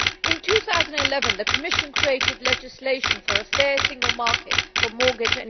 In 2011 the Commission created legislation for a fair single market for mortgages.